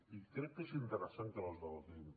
i crec que és interessant que les debatem